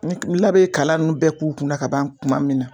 Ni n'a be kalan nunnu bɛɛ k'u kunna kaban kuma min na